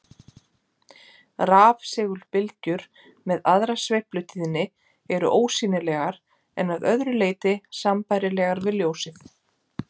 Rafsegulbylgjur með aðra sveiflutíðni eru ósýnilegar en að öðru leyti sambærilegar við ljósið.